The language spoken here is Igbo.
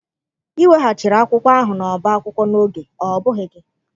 Ị weghachiri akwụkwọ ahụ n'ọbá akwụkwọ n'oge, ọ bụghị gị?